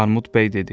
Armud bəy dedi: